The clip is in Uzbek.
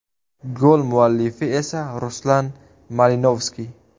Gol muallifi esa Ruslan Malinovskiy.